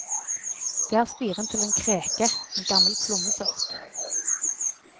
Det er spiren til en kreke, en gammel plommesort.